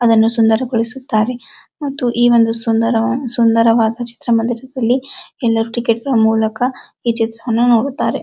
ಅದನ್ನು ಸುಂದರಗೊಳಿಸುತ್ತಾರೆ ಮತ್ತು ಈ ಒಂದು ಸುಂದರ ಸುಂದರವಾದ ಚಿತ್ರ ಮಂದಿರದಲ್ಲಿ ಎಲ್ಲರೂ ಟಿಕೆಟ್ ಗಳ ಮೂಲಕ ಈ ಚಿತ್ರವನ್ನು ನೋಡುತ್ತಾರೆ.